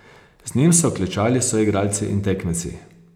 Z njim so klečali soigralci in tekmeci...